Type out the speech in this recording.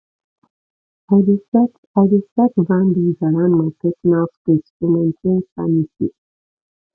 i dey set i dey set boundaries around my personal space to maintain sanity